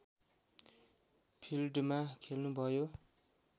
फिल्डमा खेल्नुभयो